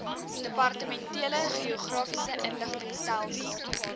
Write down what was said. departementele geografiese inligtingstelsel